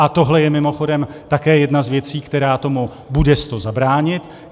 A tohle je mimochodem také jedna z věcí, která tomu bude s to zabránit.